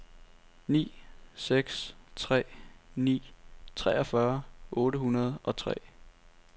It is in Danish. ni seks tre ni treogfyrre otte hundrede og tre